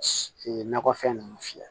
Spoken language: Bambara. nakɔfɛn ninnu fiyɛ